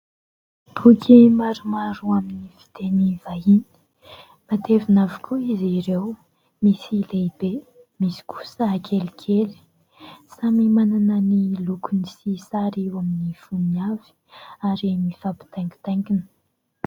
Boky maromaro amin'ny fiteny vahiny, matevina avokoa izy ireo, misy lehibe, misy kosa kelikely. Samy manana ny lokony sy sary eo amin'ny fonony avy ary mifampitaingitaingina.